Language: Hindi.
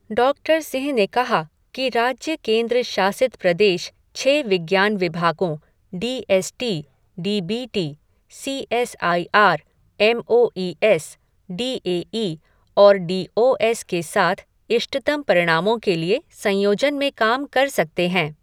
डॉक्टर सिंह ने कहा कि राज्य केंद्र शासित प्रदेश छः विज्ञान विभागों D S T, D B T, C S I R, M O E S, D A E और डी ओ एस के साथ इष्टतम परिणामों के लिए संयोजन में काम कर सकते हैं।